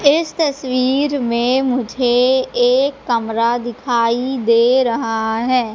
इस तस्वीर में मुझे एक कमरा दिखाई दे रहा है।